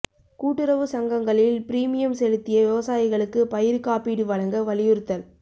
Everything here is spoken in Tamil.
கூட்டுறவு சங்கங்களில் பிரீமியம் செலுத்திய விவசாயிகளுக்கு பயிா் காப்பீடு வழங்க வலியுறுத்தல்